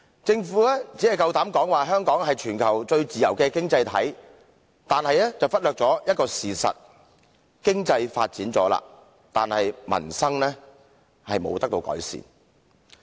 政府夠膽說香港是全球最自由的經濟體，卻忽略了一個事實：經濟已經發展，但民生卻不獲改善。